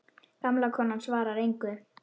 Gamla konan svarar engu.